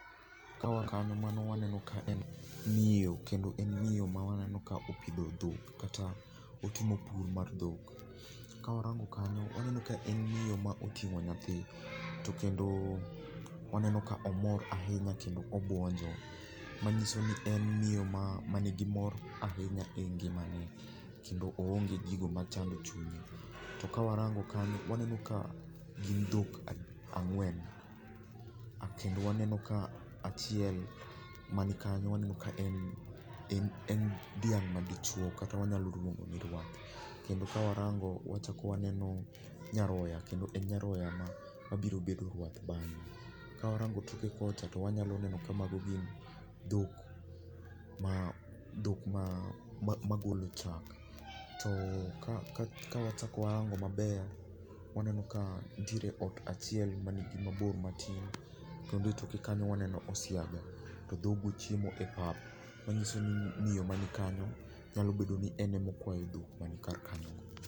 The backgound is noisy throughout the clip.